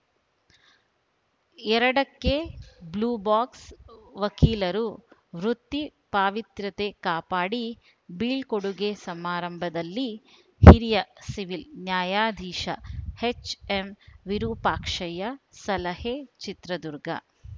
ಎರಡಕ್ಕೆಬ್ಲ್ಯೂಬಾಕ್ಸ್‌ವಕೀಲರು ವೃತ್ತಿ ಪಾವಿತ್ರ್ಯತೆ ಕಾಪಾಡಿ ಬೀಳ್ಕೊಡುಗೆ ಸಮಾರಂಭದಲ್ಲಿ ಹಿರಿಯ ಸಿವಿಲ್‌ ನ್ಯಾಯಾಧೀಶ ಎಚ್‌ಎಂವಿರುಪಾಕ್ಷಯ್ಯ ಸಲಹೆ ಚಿತ್ರದುರ್ಗ